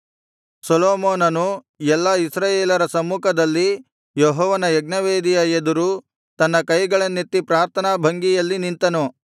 ಸೊಲೊಮೋನನು ಎಲ್ಲಾ ಇಸ್ರಾಯೇಲರ ಸಮ್ಮುಖದಲ್ಲಿ ಯೆಹೋವನ ಯಜ್ಞವೇದಿಯ ಎದುರು ತನ್ನ ಕೈಗಳನ್ನೆತ್ತಿ ಪ್ರಾರ್ಥನಾ ಭಂಗಿಯಲ್ಲಿ ನಿಂತನು